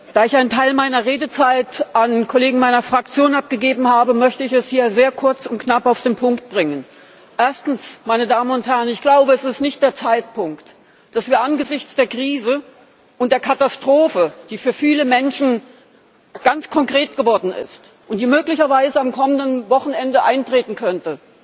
Da ich einen Teil meiner Redezeit an Kollegen meiner Fraktion abgegeben habe, möchte ich es hier sehr kurz und knapp auf den Punkt bringen. Erstens Meine Damen und Herren, ich glaube, es ist nicht der Zeitpunkt, dass wir angesichts der Krise und der Katastrophe, die für viele Menschen ganz konkret geworden ist und die möglicherweise am kommenden Wochenende eintreten könnte,